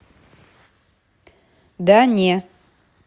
да не